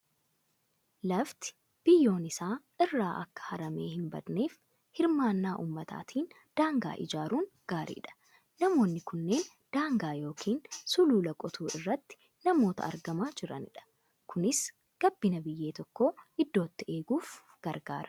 Lafti biyyoon isaa irraa akka haramee hin badneef hirmaannaa uummataatiin daangaa ijaaruun gaariidha. Namoonni kunneen daangaa yookiin sulula qotuu irratti namoota argamaa jiranidha. Kunis gabbina biyyee tokkoo iddootti eeguuf gargaara.